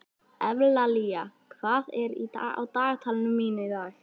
Evlalía, hvað er á dagatalinu mínu í dag?